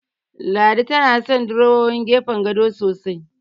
Ladi tana son durowowin gefen gado sosai.